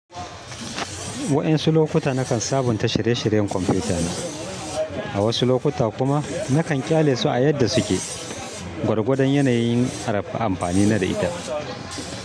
Waƴansu lokuta nakan sabunta shirye-shiryen kwamfutana, a wasu lokuta kuma nakan ƙyale su a yadda suke, gwargwadon yanayin amfani na da ita.